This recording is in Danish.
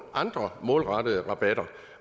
andre målrettede rabatter